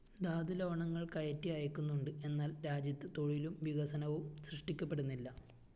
ധാതുലവണങ്ങള്‍ കയറ്റി അയക്കുന്നുണ്ട്‌ എന്നാല്‍ രാജ്യത്ത്‌ തൊഴിലും വികസനവും സൃഷ്ടിക്കപ്പെടുന്നില്ല